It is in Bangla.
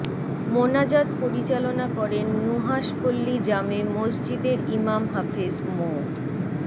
মোনাজাত পরিচালনা করেন নুহাশপল্লী জামে মসজিদের ইমাম হাফেজ মো